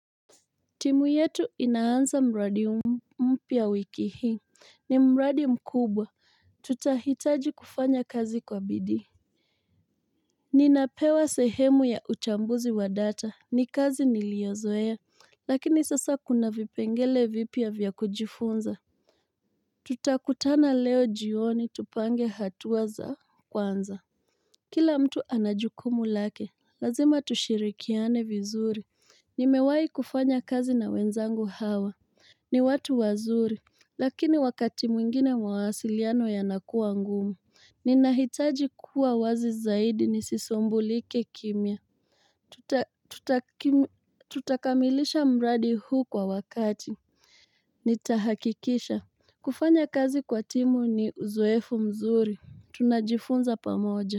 Timu yetu inaanza mradi mpya wiki hii. Ni mradi mkubwa. Tutahitaji kufanya kazi kwa bidii. Ninapewa sehemu ya uchambuzi wa data. Ni kazi niliyozoea. Lakini sasa kuna vipengele vipya vya kujifunza. Tutakutana leo jioni tupange hatua za kwanza. Kila mtu anajukumu lake. Lazima tushirikiane vizuri. Nimewai kufanya kazi na wenzangu hawa. Ni watu wazuri. Lakini wakati mwingine mawasiliano yanakuwa ngumu. Ninahitaji kuwa wazi zaidi nisisumbulike kimya. Tutakamilisha mradi huu kwa wakati. Nitahakikisha. Kufanya kazi kwa timu ni uzoefu mzuri. Tunajifunza pamoja.